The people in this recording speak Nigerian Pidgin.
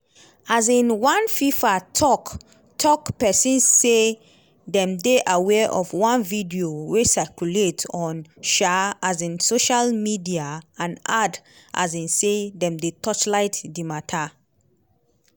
um one fifa tok-tok pesin say dem dey "aware of one video wey circulate on um um social media" and add um say "dem dey torchlight di mata ".